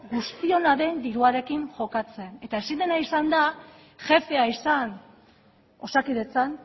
guztiona den diruarekin jokatzen eta ezin dena izan da jefea izan osakidetzan